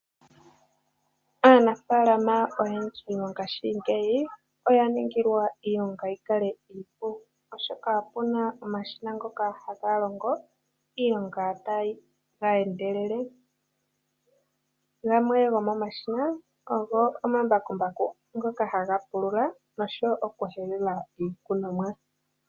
Aanafaalama oyendji mongashingeyi oya ningilwa iilonga yi kale iipu oshoka opuna omashina ngoka haga longo iilonga tayi endelele. Gamwe gomomashina ogo omambakumbaku ngoka haga pulula noshowo oku kahelula iikunomwa.